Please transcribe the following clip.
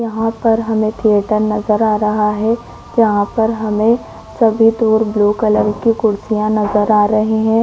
यहाँ पर हमें टेबल नज़र आ रहा है यहाँ पर हमें सफेद और ब्लू कलर की कुर्सियाँ नज़र आ रही है।